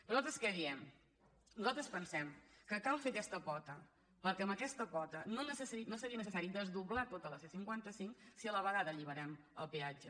però nosaltres què diem nosaltres pensem que cal fer aquesta pota perquè amb aquesta pota no seria neces·sari desdoblar tota la c·cinquanta cinc si a la vegada alliberem el peatge